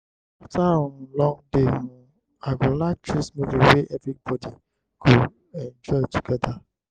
after um long day um i go like choose movie wey everybody go enjoy together.